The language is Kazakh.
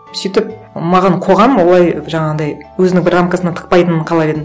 сөйтіп маған қоғам олай жаңағындай өзінің бір рамкасына тықпайтынын қалар едім